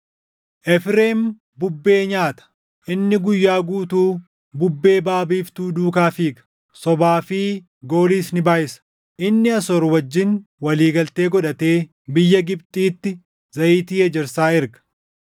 Efreem bubbee nyaata; inni guyyaa guutuu bubbee baʼa biiftuu duukaa fiiga; sobaa fi gooliis ni baayʼisa. Inni Asoor wajjin walii galtee godhatee biyya Gibxiitti zayitii ejersaa erga.